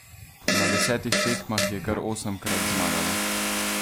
Na desetih tekmah je kar osemkrat zmagala!